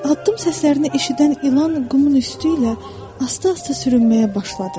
Addım səslərini eşidən ilan qumun üstü ilə asta-asta sürünməyə başladı.